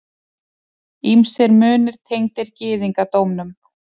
Ýmsir munir tengdir gyðingdómnum.